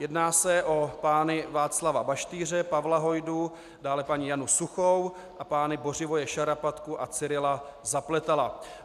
Jedná se o pány Václava Baštýře, Pavla Hojdu, dále paní Janu Suchou a pány Bořivoje Šarapatku a Cyrila Zapletala.